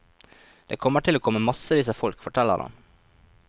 Det kommer til å komme massevis av folk, forteller han.